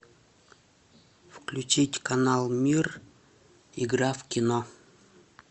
включить канал мир игра в кино